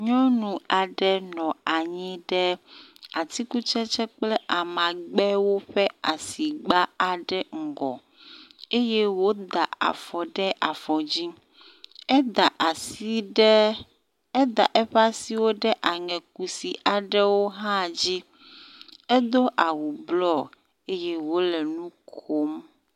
Nyɔnu aɖe nɔ anyi ɖe atikutsetse kple amagbewo ƒe asigba aɖe ƒe ŋgɔ eye woda afɔ ɖe afɔdzi. Eda asi ɖe, eda eƒe asiwo ɖe aŋe kusi aɖewo hã dzi, edo awu bluɔ eye wole nukom.